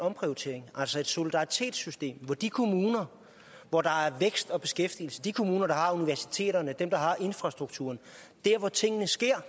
omprioritering altså et solidaritetssystem hvor de kommuner hvor der er vækst og beskæftigelse de kommuner der har universiteterne og infrastrukturen der hvor tingene sker